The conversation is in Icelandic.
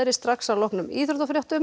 strax að loknum íþróttafréttum